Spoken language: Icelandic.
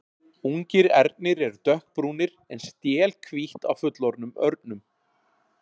Ungir ernir eru dökkbrúnir en stél hvítt á fullorðnum örnum.